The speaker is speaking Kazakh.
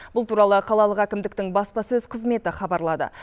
бұл туралы қалалық әкімдіктің баспасөз қызметі хабарлады